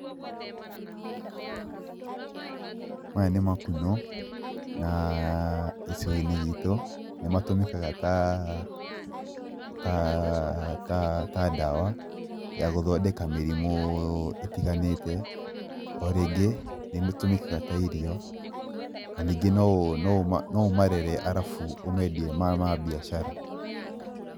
Maya nĩ makunũ na gĩcigo-inĩ gitũ nĩ matumĩkaga ta ndawa ya guthondeka mĩrimũ ĩtiganĩte. O rĩngĩ nĩmĩtũmĩkaga ta irio, na ningĩ no ũmarere arabu ũmendie me ma biacara.